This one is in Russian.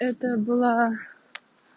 это было